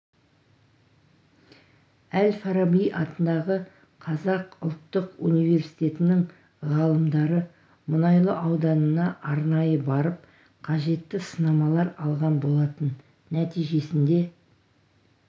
әл-фараби атындағы қазақ ұлттық университетінің ғалымдары мұнайлы ауданына арнайы барып қажетті сынамалар алған болатын нәтижесінде